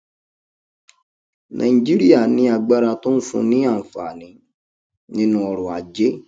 nàìjíríà ní agbára tó ń fún un ní àǹfààní nínú ọrọ ajé